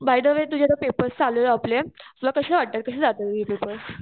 Bye the way चालूये आपले तुला कशे वाटतात कशे जातायेत तुझे पेपर्स?